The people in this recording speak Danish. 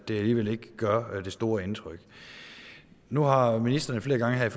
det alligevel ikke gør det store indtryk nu har ministeren flere gange her